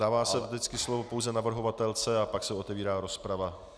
Dává se vždycky slovo pouze navrhovatelce a pak se otevírá rozprava.